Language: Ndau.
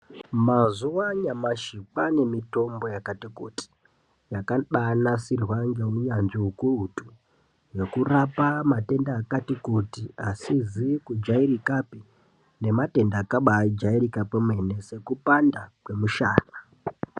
Mazuva anyamashi kwane mitombo yakati kuti yakabanasirwa ngeunyanzvi hukurutu, yekurapa matenda akati kuti asizi kujairikapi nematenda akabajairika kwemene sekupanda kwemushana.